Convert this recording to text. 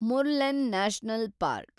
Murlen national park